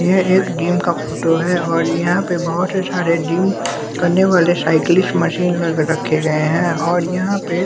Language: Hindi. यह एक जिम का फोटो है और यहाँ पे बहुत से सारे जिम करने वाले साइक्लिस्ट स्टाइलिश मशीन लाके रखे गए हैं और यहाँ पे--